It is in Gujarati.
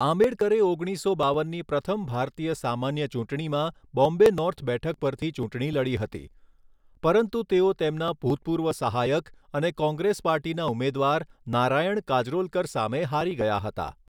આંબેડકરે ઓગણીસો બાવનની પ્રથમ ભારતીય સામાન્ય ચૂંટણીમાં બોમ્બે નોર્થ બેઠક પરથી ચૂંટણી લડી હતી, પરંતુ તેઓ તેમના ભૂતપૂર્વ સહાયક અને કોંગ્રેસ પાર્ટીના ઉમેદવાર નારાયણ કાજરોલકર સામે હારી ગયા હતા.